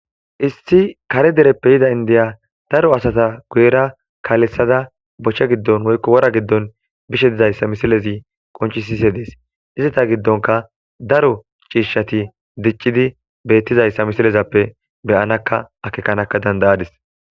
Issi kare dereppe yidda indiya daro asata guyera kaaleththada boche giddon woykko wora giddon bishe dizayssa misilezi qonccisishe dees. Izeta giddonkka daro ciishshati diccidi beettizayssa misilezappe be'anakka akeekanakka danda'adis.